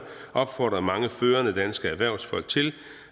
opfordrede mange førende danske erhvervsfolk til